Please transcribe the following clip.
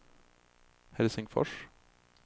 Helsingfors